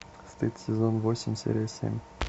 стыд сезон восемь серия семь